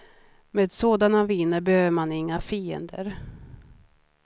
Med sådana viner behöver man inga fiender.